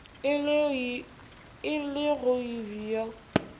e le go b yo